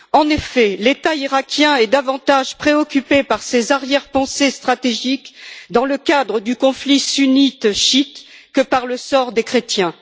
En effet, l'État iraquien est davantage préoccupé par ses arrière pensées stratégiques dans le cadre du conflit sunnite chiite que par le sort des chrétiens.